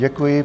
Děkuji.